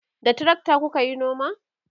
da trakta kukayi noma?